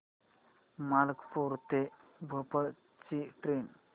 मलकापूर ते भोपाळ ची ट्रेन